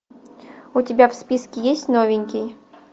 у тебя в списке есть новенький